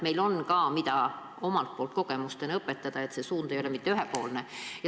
Aga meil on ka, mida omalt poolt kogemustena õpetada, see suund ei ole mitte ühepoolne.